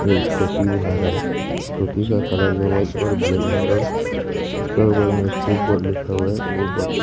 ये स्कूटी बना रहा है स्कूटी का कलर जो वाइट और ब्लैक है और इसका बगल में एक्टिव लिखा हुआ है--